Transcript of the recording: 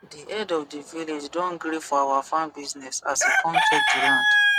di head of the the village don gree for our farm business as he come check di land